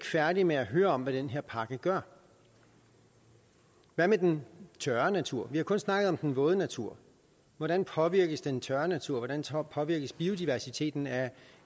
færdige med at høre om hvad den her pakke gør hvad med den tørre natur vi har kun snakket om den våde natur hvordan påvirkes den tørre natur hvordan påvirkes biodiversiteten af